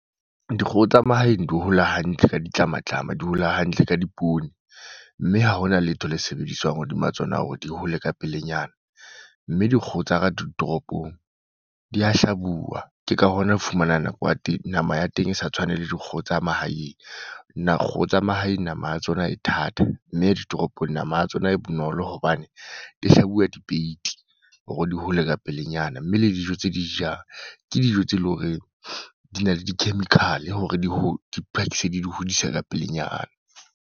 Dikgoho tsa mahaeng di hola hantle ka ditlamatlama. Di hola hantle ka di poone. Mme ha hona letho le sebediswang hodima tsona hore di hole ka pelenyana. Mme dikgoho tsa ka ditoropong, di a hlabuwa. Ke ka hona ho fumana nako ya teng, nama ya teng e sa tshwane le dikgoho tsa mahaeng. Na kgoho mahaeng nama ya tsona e thata. Mme ditoropong nama ya tsona e bonolo hobane, di hlabuwa dipeiti hore di hole ka pelenyana. Mme le dijo tse di jang ke dijo tse leng horeng di na le di-chemical hore di, di phakise di dihodise ka pelenyana.